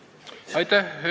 Aitäh!